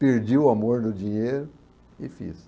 Perdi o amor do dinheiro e fiz.